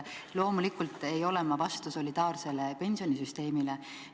Loomulikult ei ole ma vastu solidaarsele pensionisüsteemile.